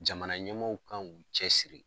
Jamana ɲɛmaw kan k'u cɛ siri.